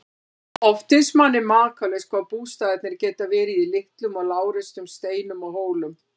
Oft finnst manni makalaust hvað bústaðirnir geta verið í litlum og lágreistum steinum og hólum.